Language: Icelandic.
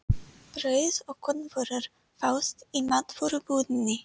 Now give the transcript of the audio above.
Brauð og kornvörur fást í matvörubúðinni.